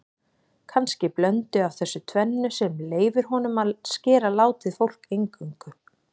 Kannski blöndu af þessu tvennu sem leyfir honum að skera látið fólk eingöngu.